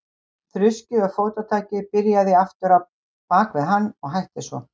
Þruskið og fótatakið byrjaði aftur á bak við hann og hætti svo.